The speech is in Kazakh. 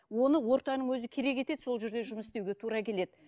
оның ортаның өзі керек етеді сол жерде жұмыс істеуге тура келеді